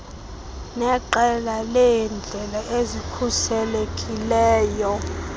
neqela leendlela ezikhuselekileyo